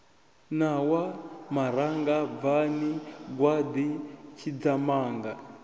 ṋawa maranga bvani gwaḓi tshidzamanga